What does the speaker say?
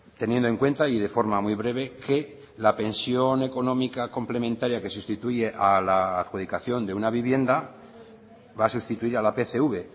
teniendo en cuenta y de forma muy breve que la pensión económica complementaria que sustituye a la adjudicación de una vivienda va a sustituir a la pcv